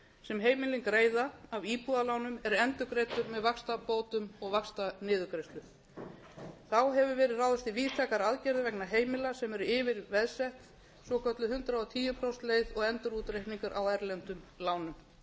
sem heimilin greiða af íbúðalánum er endurgreiddur með vaxtabótum og vaxtaniðurgreiðslur þá hefur verið ráðist í víðtækar aðgerðir vegna heimila sem eru yfirveðsettsvokölluð hundrað og tíu prósenta leið og endurútreikningur á erlendum lánum fyrr